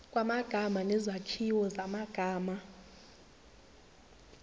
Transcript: kwamagama nezakhiwo zamagama